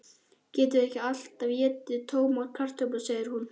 Getum ekki alltaf étið tómar kartöflur, segir hún.